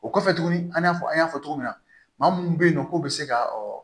O kɔfɛ tuguni an y'a fɔ an y'a fɔ cogo min na maa munnu be yen nɔ k'o be se ka